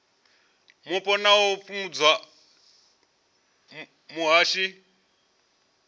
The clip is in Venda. mupo na u fhungudza vhushai